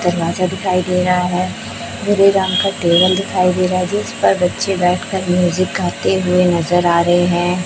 दरवाजा दिखाई दे रहा है भूरे रंग का टेबल दिखाई दे रहा है जिस पर बच्चे बैठकर म्यूजिक गाते हुए नजर आ रहे हैं।